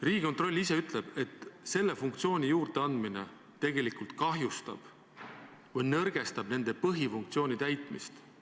Riigikontroll ise ütleb, et selle funktsiooni juurdeandmine tegelikult kahjustab või nõrgestab nende põhifunktsiooni täitmist.